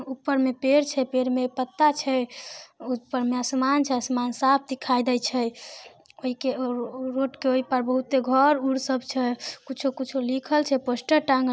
ऊपर में पेड़ छै पेड़ में पत्ता छै ऊपर में आसमान छै आसमान साफ दिखाय दे छै ओय के ओ रोड के उ पार बहुते घर उर सब छै कुछो-कुछो लिखल छै पोस्टर टाँगल --